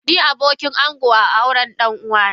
Ni abokin ango a aurn ɗan uwa na.